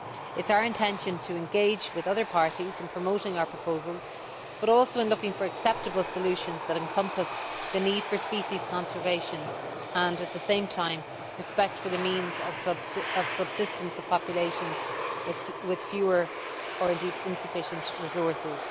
It is our intention to engage with other parties not only in promoting our proposals but also in looking for acceptable solutions that encompass the need for species conservation and, at the same time, respect for the means of subsistence of populations with fewer or insufficient resources.